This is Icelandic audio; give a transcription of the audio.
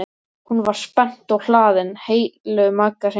Hún var spennt og hlaðin heilu magasíni.